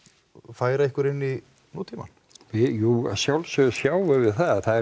færa ykkur inn í nútímann jú að sjálfsögðu sjáum við það